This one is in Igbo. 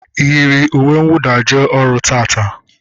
Ị yiri uwe nwụda jee ọrụ taata?